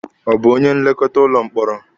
Ọ bụ onye nlekọta ụlọ mkpọrọ?